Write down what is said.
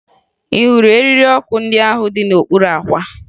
Ị hụrụ eriri ọkụ ndị ahụ dị n'okpuru àkwà?